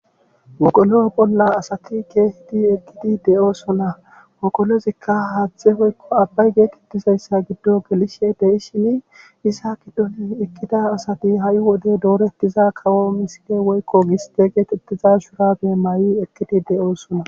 Wogolo bolla ke'idi eqqidi asati de'osona. wogolozikka haaththe woykko abbay geetetiza gelishe de'ishin iza gidon eqqiza asati hay wode dooretiza kawo misile woykko giste getetiza shuurabiya mayi ekkidi de'osona.